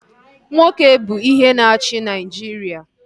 Nwoke bụ ihe na-achị Naịjiria